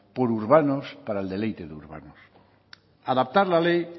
por urbanos para el deleite de urbanos adaptar la ley